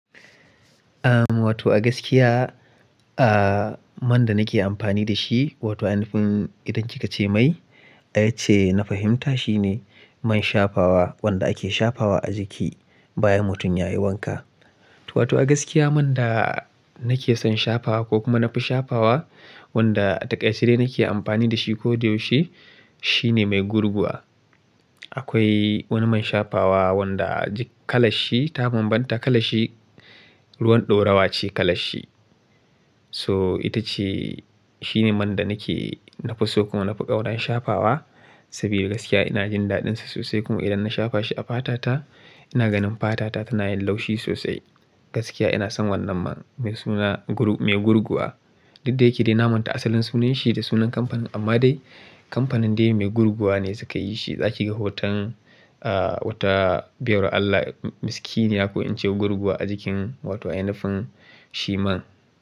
Am, wato a gaskiya, ah, man da nake amfani da shi wato a yanayin idan kika ce mai, ai ce na fahimta shine man shafawa wanda ake shafawa a jiki bayan mutum ya yi wanka. To, wato a gaskiya man da nake son shafawa ko kuma na fi shafawa wanda a takarche dai nake amfani da shi ko da yaushe shine mai gurguwa. Akwai wani man shafawa wanda kalashi ta bambanta, kalashi ruwan ɗaurawa ce kalashi. So ita ce, shine man da nake, na fi so kuma na fi daura shafawa saboda gaskiya ina jin daɗinsa sosai kuma idan na shafa shi a fatata ina ganin fatata tana yin laushi sosai. Gaskiya ina son wannan man mai suna gurgu, mai gurguwa. Duk da yake dai na manta asalin sunan shi da sunan kamfanin amma dai kamfanin dai mai gurguwa ne suka yi shi. Zaki ga hoton, ah, wata biyar Allah miskini ya ko in ce gurguwa a jikin wato a ai nufin shi man.